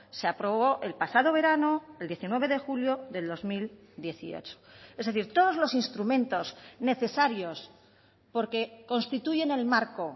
se aprobó el pasado verano el diecinueve de julio del dos mil dieciocho es decir todos los instrumentos necesarios porque constituyen el marco